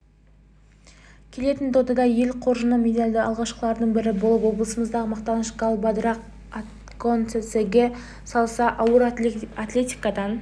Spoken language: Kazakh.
келетін додада ел қоржынына медальді алғашқылардың бірі болып облысымыздың мақтанышы галбадрах отгонцэцэг салса ауыр атлетикадан